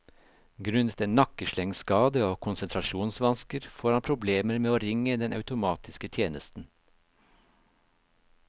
Grunnet en nakkeslengskade og konsentrasjonsvansker får han problemer med å ringe den automatiske tjenesten.